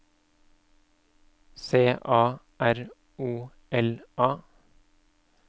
C A R O L A